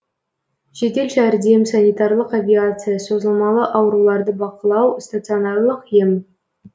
жедел жәрдем санитарлық авиация созылмалы ауруларды бақылау стационарлық ем